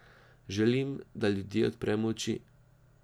Želim, da ljudje odpremo oči.